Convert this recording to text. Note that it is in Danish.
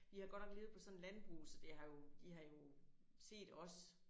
Vi har godt nok levet på sådan et landbrug så det har jo de har jo set os